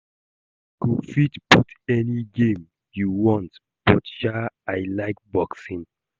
You go fit put any game you want but sha I like boxing